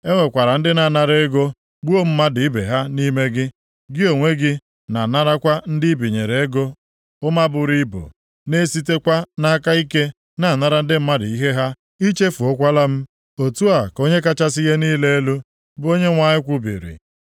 E nwekwara ndị na-anara ego gbuo mmadụ ibe ha nʼime gị. Gị onwe gị na-anarakwa ndị i binyere ego ụma buru ibu, na-esitekwa nʼaka ike na-anara ndị mmadụ ihe ha. I chefuokwala m. Otu a ka Onye kachasị ihe niile elu, bụ Onyenwe anyị kwubiri.